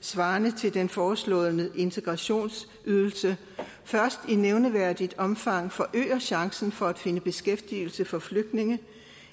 svarende til den foreslåede integrationsydelse først i nævneværdigt omfang forøger chancen for at finde beskæftigelse for flygtninge